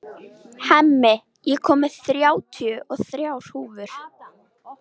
Hemmi, ég kom með þrjátíu og þrjár húfur!